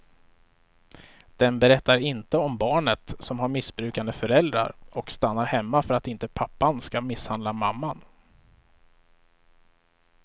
Den berättar inte om barnet som har missbrukande föräldrar och stannar hemma för att inte pappan ska misshandla mamman.